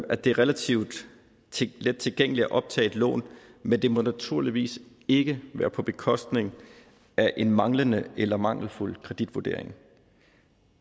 at det er relativt let tilgængeligt at optage et lån men det må naturligvis ikke være på bekostning af en manglende eller mangelfuld kreditvurdering